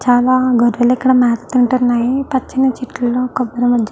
చాలా గొర్రెలు ఇక్కడ మేత తింటున్నాయి పచ్చని చెట్లలో